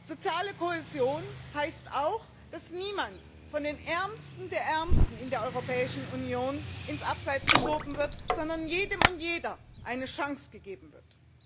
Soziale Kohäsion heißt auch, dass niemand von den Ärmsten der Ärmsten der Europäischen Union ins Abseits geschoben wird, sondern jedem und jeder eine Chance gegeben wird.